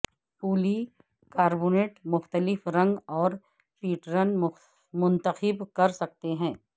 پولی carbonate مختلف رنگ اور پیٹرن منتخب کر سکتے ہیں